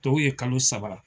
Tɔw ye kalo saba.